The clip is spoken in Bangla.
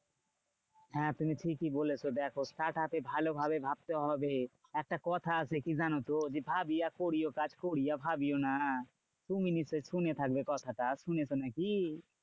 হ্যাঁ তুমি ঠিকই বলেছো দেখো startup এ ভালোভাবে ভাবতে হবে। একটা কথা আছে, কি জানতো? যে ভাবিয়া করিও কাজ করিয়া ভাবিও না। তুমি নিশ্চই শুনে থাকবে কথাটা, শুনেছ নাকি?